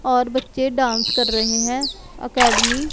और बच्चे डांस कर रहे हैं अकैडमी --